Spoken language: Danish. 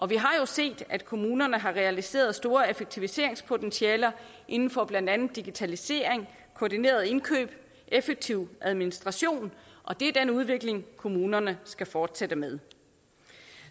vi har jo set at kommunerne har realiseret store effektiviseringspotentialer inden for blandt andet digitalisering koordinerede indkøb effektiv administration og det er den udvikling kommunerne skal fortsætte med